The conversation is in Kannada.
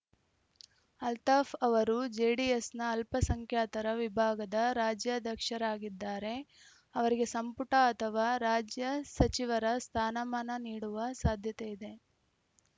ಅಲ್ತಾಫ್‌ ಅವರು ಜೆಡಿಎಸ್‌ನ ಅಲ್ಪಸಂಖ್ಯಾತರ ವಿಭಾಗದ ರಾಜ್ಯಾಧ್ಯಕ್ಷರಾಗಿದ್ದಾರೆ ಅವರಿಗೆ ಸಂಪುಟ ಅಥವಾ ರಾಜ್ಯ ಸಚಿವರ ಸ್ಥಾನಮಾನ ನೀಡುವ ಸಾಧ್ಯತೆಯಿದೆ